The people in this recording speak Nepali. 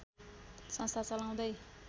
संस्था चलाउँदै